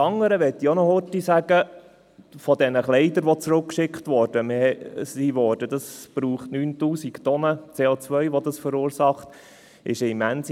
Dann zu den zurückgeschickten Kleidern: Diese verursachen 9000 Tonnen CO.